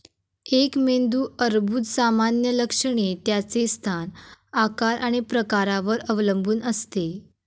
एक मेंदू अर्बुद सामान्य लक्षणे त्याचे स्थान, आकार आणि प्रकारावर अवलंबून असते.